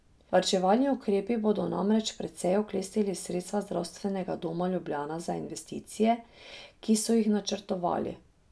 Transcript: Varčevalni ukrepi bodo namreč precej oklestili sredstva Zdravstvenega doma Ljubljana za investicije, ki so jih načrtovali.